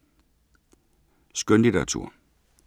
Skønlitteratur